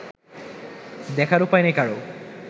দেখার উপায় নেই কারও